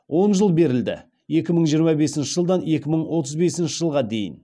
он жыл беріледі екі мың жиырма бесінші жылдан екі мың отыз бесінші жылға дейін